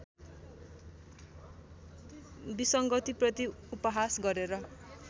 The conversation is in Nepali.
विसङ्गतिप्रति उपहास गरेर